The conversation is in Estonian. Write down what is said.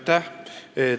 Aitäh!